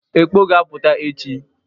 Ekpọ ga-apụta echi.